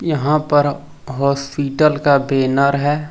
यहां पर हॉस्पिटल का बैनर है।